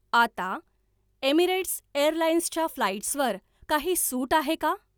आता Emirates Airlines च्या फ्लाइट्सवर काही सूट आहे का?